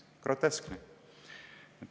Groteskne!